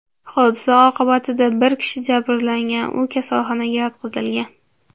Hodisa oqibatida bir kishi jabrlangan, u kasalxonaga yotqizilgan.